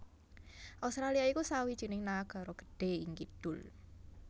Australia iku sawijining nagara gedhé ing kidul